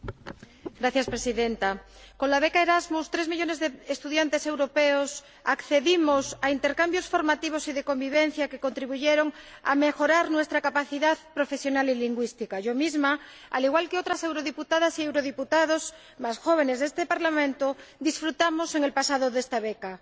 Señora Presidenta, con la beca Erasmus tres millones de estudiantes europeos hemos accedido a intercambios formativos y de convivencia que han contribuido a mejorar nuestra capacidad profesional y lingüística. Yo misma, al igual que otras eurodiputadas y eurodiputados jóvenes de este Parlamento, disfrutamos en el pasado de esta beca.